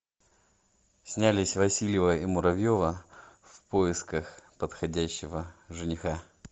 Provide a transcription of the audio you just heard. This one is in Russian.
снялись васильева и муравьева в поисках подходящего жениха